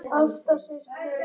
Jafnvel heilt afrek?